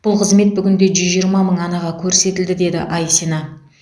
бұл қызмет бүгінде жүз жиырма мың анаға көрсетілді деді айсина